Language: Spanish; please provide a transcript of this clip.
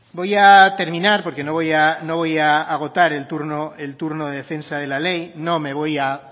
voy a terminar porque no voy a agotar el turno de defensa de la ley no me voy a